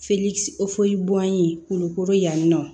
kolokoro yannɔn